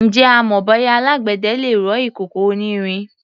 Ǹjẹ́ o mọ bóyá alágbẹ̀dẹ le rọ ìkòkò onírin?